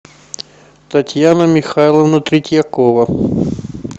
татьяна михайловна третьякова